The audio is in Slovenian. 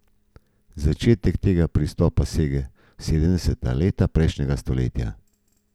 Začetek tega pristopa sega v sedemdeseta leta prejšnjega stoletja.